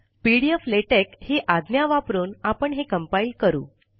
P D F LaTeX ही आज्ञा वापरून आपण हे कंपाइल करू